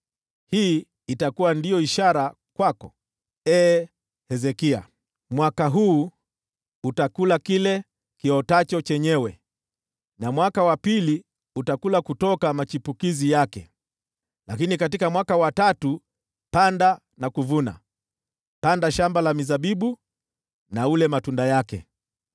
“Hii ndiyo itakuwa ishara kwako, ee Hezekia: “Mwaka huu utakula kile kiotacho chenyewe, na mwaka wa pili utakula kutoka machipukizi yake. Lakini katika mwaka wa tatu panda na uvune, panda mashamba ya mizabibu na ule matunda yake.